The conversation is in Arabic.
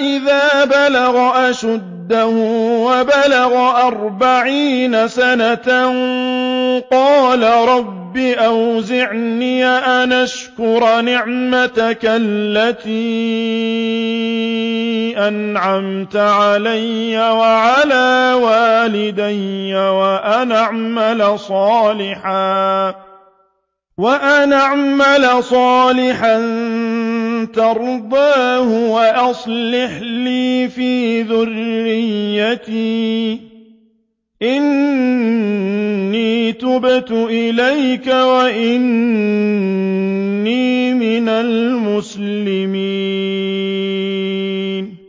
إِذَا بَلَغَ أَشُدَّهُ وَبَلَغَ أَرْبَعِينَ سَنَةً قَالَ رَبِّ أَوْزِعْنِي أَنْ أَشْكُرَ نِعْمَتَكَ الَّتِي أَنْعَمْتَ عَلَيَّ وَعَلَىٰ وَالِدَيَّ وَأَنْ أَعْمَلَ صَالِحًا تَرْضَاهُ وَأَصْلِحْ لِي فِي ذُرِّيَّتِي ۖ إِنِّي تُبْتُ إِلَيْكَ وَإِنِّي مِنَ الْمُسْلِمِينَ